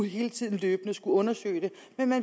hele tiden løbende skulle undersøge det